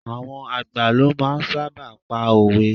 Àwọn àgbà ló máa ń sábà pa òwe.